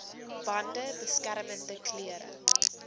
bande beskermende klere